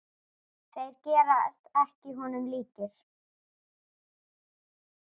Þeir gerast ekki honum líkir.